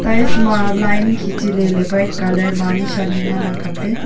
tiles ma line kichi lele white colour mani shani ngan ang kaple.